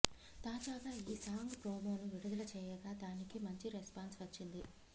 తాజాగా ఈ సాంగ్ ప్రోమోను విడుదల చేయగా దానికి మంచి రెస్పాన్స్ వచ్చింది